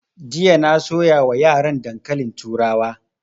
Jiya na soya wa yaran dankalin turawa